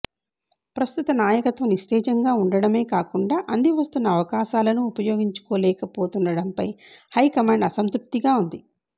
ప్రస్తుత నాయకత్వం నిస్తేజంగా ఉండడమే కాకుండా అందివస్తున్న అవకాశాలనూ ఉపయోగించుకోలేకపోతుండడంపై హైకమాండ్ అసంతృప్తిగా ఉంది